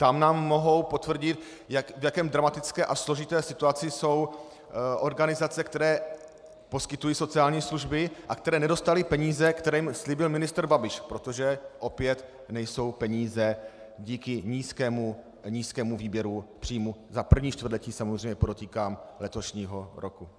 Tam nám mohou potvrdit, v jaké dramatické a složité situaci jsou organizace, které poskytují sociální služby a které nedostaly peníze, které jim slíbil ministr Babiš, protože opět nejsou peníze díky nízkému výběru příjmů za první čtvrtletí, samozřejmě podotýkám letošního roku.